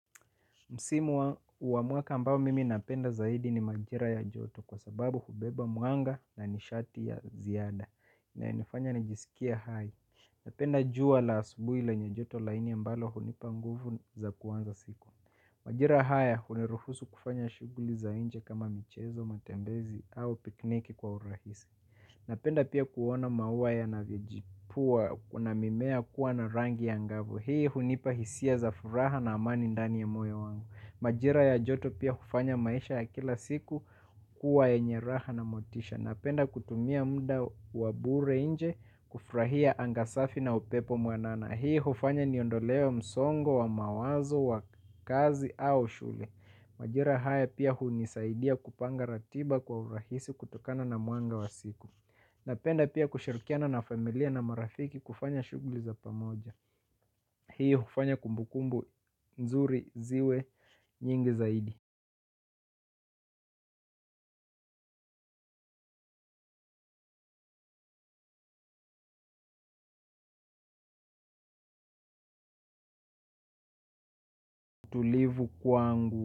Msimu wa mwaka ambayo mimi napenda zaidi ni majira ya joto kwa sababu hubeba mwanga na nishati ya ziada. Inayonifanya nijisikie hai. Napenda jua la asubuhi lenye joto laini ambalo hunipa nguvu za kuanza siku. Majira haya hunirufusu kufanya shughuli za nje kama michezo, matembezi au pikniki kwa urahisi. Napenda pia kuona maua yanavyojipua kuna mimea kuwa na rangi angavu. Hii hunipa hisia za furaha na amani ndani ya moyo wangu. Majira ya joto pia hufanya maisha ya kila siku kuwa yenye raha na motisha. Napenda kutumia muda wa bure nje kufurahia anga safi na upepo mwanana. Hii hufanya niondolewe msongo wa mawazo wa kazi au shule. Majira haya pia hunisaidia kupanga ratiba kwa urahisi kutokana na mwanga wa siku. Napenda pia kushirikiana na familia na marafiki kufanya shughuli za pamoja. Hii hufanya kumbukumbu nzuri ziwe nyingi zaidi. Tulivu kwangu.